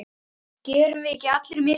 Gerum við ekki allir mistök?